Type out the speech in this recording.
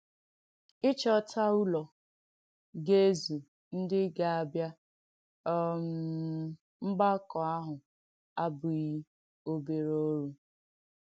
Ị̀chọ́tà ùlọ̀ ga-èzù ndí ga-àbịa um mgbàkọ̀ àhụ̄ abughị́ oberè òrù.